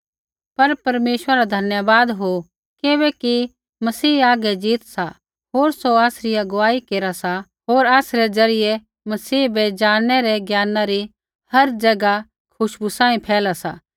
पर परमेश्वरै रा धन्यवाद हो किबैकि मसीह हागै ज़ीत सा होर सौ आसरी अगुवाई केरा सा होर आसरै ज़रियै मसीह बै ज़ाणनै रै ज्ञाना री हर ज़ैगा खुशबू सांही फैला सा